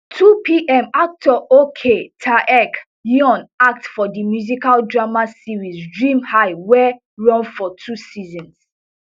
twopm actor ok taec yeon act for di musical drama series dream high wey run for two seasons